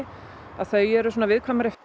þau eru viðkvæmari